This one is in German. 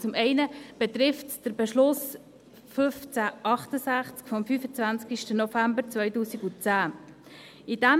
Zum einen betrifft es den Beschluss 1568 vom 25. November 2010.